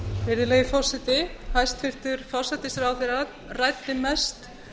virðulegi forseti hæstvirtur forsætisráðherra ræddi mest